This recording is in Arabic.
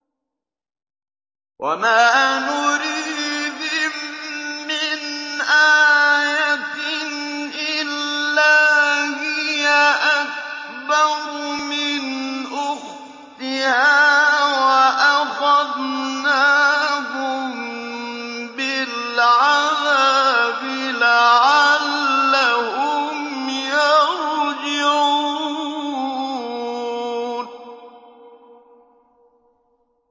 وَمَا نُرِيهِم مِّنْ آيَةٍ إِلَّا هِيَ أَكْبَرُ مِنْ أُخْتِهَا ۖ وَأَخَذْنَاهُم بِالْعَذَابِ لَعَلَّهُمْ يَرْجِعُونَ